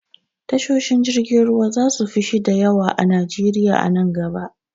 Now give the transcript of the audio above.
Tashoshin jirgin ruwa zasu fi shida yawa a najeriya a nan gaba.